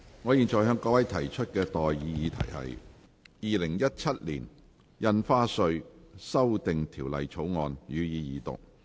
我現在向各位提出的待議議題是：《2017年印花稅條例草案》，予以二讀。